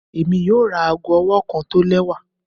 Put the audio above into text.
Emi yoo ra aago ọwọ kan tọ lẹwa